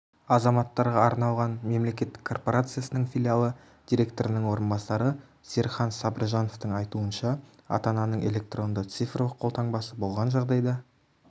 азаматтарға арналған мемлекеттік корпорациясының филиалы директорының орынбасары серікхан сабыржановтың айтуынша ата-ананың электронды цифрлық қолтаңбасы болған жағдайда